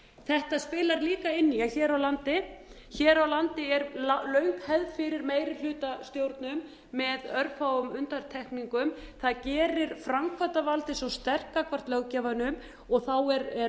þetta spilar líka inn í að hér á landi er löng hefði fyrir meirihlutastjórnum með örfáum undantekningum það gerir framkvæmdavaldið svo sterkt gagnvart löggjafanum og þá er